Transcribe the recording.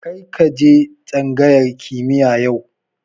Kar ka je tsangayar kimiya yau